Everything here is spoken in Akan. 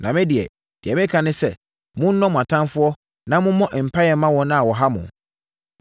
Na me deɛ, deɛ mereka ne sɛ: monnɔ mo atamfoɔ, na mommɔ mpaeɛ mma wɔn a wɔha mo.